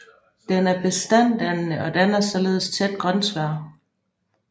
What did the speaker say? Den er bestanddannende og danner således tæt grønsvær